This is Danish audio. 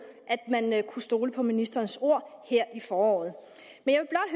at man kunne stole på ministerens ord her i foråret